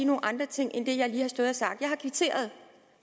nogle andre ting end det jeg lige har sagt jeg har kvitteret